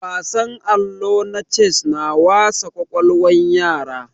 Wasan allo na ces na wasa kwakwalwan yara